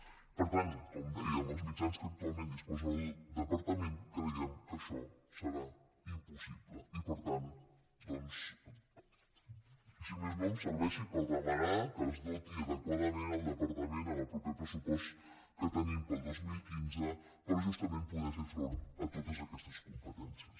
per tant com deia amb els mitjans de què actualment disposa el departament creiem que això serà impossible i per tant doncs si més no que em serveixi per demanar que es doti adequadament el departament en el proper pressupost que tenim per al dos mil quinze per justament poder fer front a totes aquestes competències